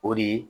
O de ye